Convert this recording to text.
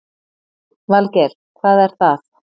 Valgeir: Hvað er það?